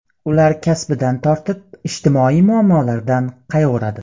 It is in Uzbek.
Ular kasbidan ortib, ijtimoiy muammolardan qayg‘uradi.